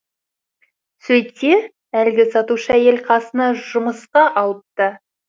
сөйтсе әлгі сатушы әйел қасына жұмысқа алыпты